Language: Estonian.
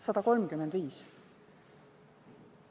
135%!